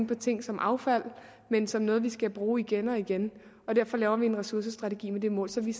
på tingene som affald men som noget vi skal bruge igen og igen og derfor laver vi en ressourcestrategi med det mål så vi